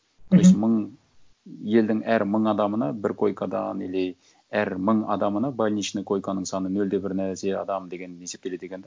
мхм то есть мың елдің әр мың адамына бір койкадан или әр мың адамына больничный койканың саны нөл де бір нәрсе адам деген есептеледі екен де